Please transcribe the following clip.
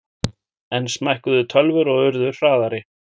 Enn smækkuðu tölvur og urðu hraðari.